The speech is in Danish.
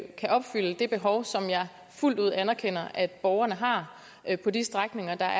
kan opfylde det behov som jeg fuldt ud anerkender at borgerne har på de strækninger der